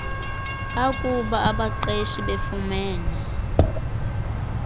bakuba abaqeshi befumene